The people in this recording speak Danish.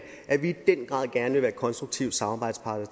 i den grad gerne vil konstruktiv samarbejdspartner